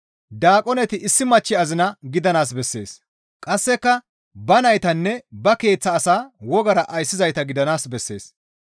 Daaqoneti issi machchi azina gidanaas bessees; qasseka ba naytanne ba keeththa asaa wogara ayssizayta gidanaas bessees.